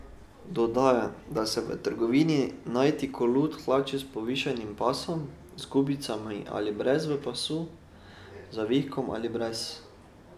Dodaja, da se da v trgovini najti kulot hlače s povišanim pasom, z gubicami ali brez v pasu, z zavihkom ali brez.